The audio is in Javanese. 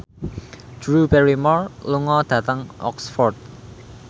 Drew Barrymore lunga dhateng Oxford